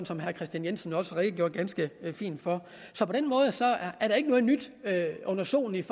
som herre kristian jensen redegjorde ganske fint for så på den måde er der ikke noget nyt under solen